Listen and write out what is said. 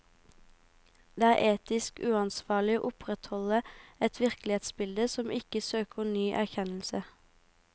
Det er etisk uansvarlig å opprettholde et virkelighetsbilde som ikke søker ny erkjennelse.